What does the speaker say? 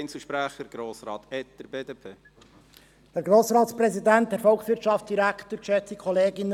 Ich danke Ihnen, wenn Sie diesem Projekt zustimmen.